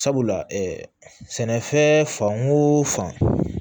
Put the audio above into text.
Sabula sɛnɛfɛn fan o fan